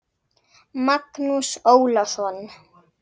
Magnús Ólason.